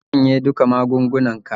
Koma ka shanye duka magungunnanka.